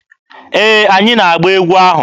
Ee, anyị na-agba egwu ahụ.